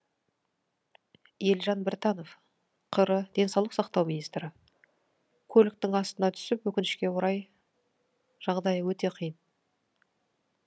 елжан біртанов қр денсаулық сақтау министрі көліктің астына түсіп өкінішке орай жағдайы өте қиын